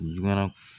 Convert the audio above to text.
Jula